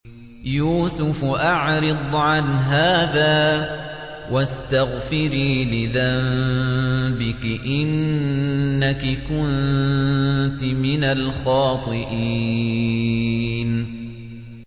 يُوسُفُ أَعْرِضْ عَنْ هَٰذَا ۚ وَاسْتَغْفِرِي لِذَنبِكِ ۖ إِنَّكِ كُنتِ مِنَ الْخَاطِئِينَ